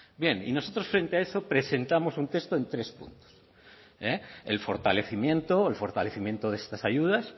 bien y nosotros frente a eso presentamos un texto en tres puntos el fortalecimiento el fortalecimiento de estas ayudas